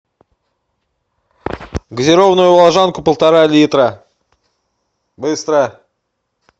газированную волжанку полтора литра быстро